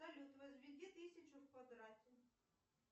салют возведи тысячу в квадрат